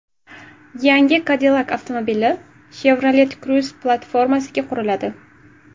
Yangi Cadillac avtomobili Chevrolet Cruze platformasiga quriladi.